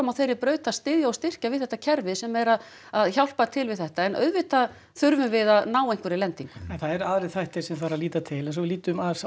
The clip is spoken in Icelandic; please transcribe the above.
á þeirri braut að styðja og styrkja við þetta kerfi sem er að að hjálpa til við þetta en auðvitað þurfum við að ná einhverri lendingu en það eru aðrir þættir sem þarf að líta til eins og lítum aðeins á